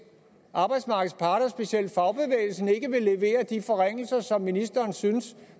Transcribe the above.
arbejdsmarkedets parter specielt fagbevægelsen ikke vil levere de forringelser som ministeren synes